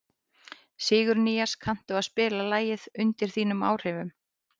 Sigurnýas, kanntu að spila lagið „Undir þínum áhrifum“?